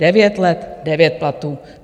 Devět let devět platů.